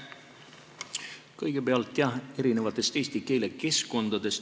Kõigepealt erinevatest eesti keele keskkondadest.